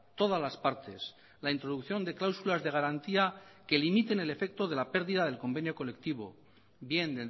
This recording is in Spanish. todas las partes la introducción de cláusulas de garantía que limiten el efecto de la pérdida del convenio colectivo bien